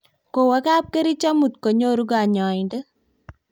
kowo kapkerich amut konyoru kanyoindet